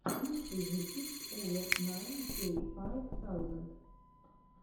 лучший выпуск овэ найн кей файв саузенд